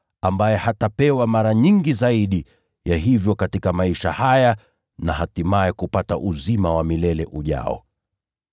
ambaye hatapewa mara nyingi zaidi ya hivyo katika maisha haya, na hatimaye kupata uzima wa milele ujao.”